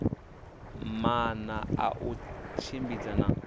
maana a u tshimbidza na